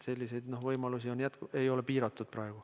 Selliseid võimalusi ei ole praegu piiratud.